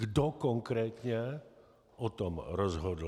Kdo konkrétně o tom rozhodl.